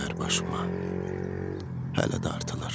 Bəxtəvər başıma hələ dartılır.